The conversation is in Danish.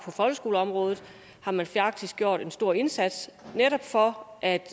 folkeskoleområdet har man faktisk gjort en stor indsats netop for at